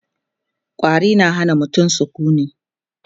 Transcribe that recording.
ƙwari na Hana mutum sukuni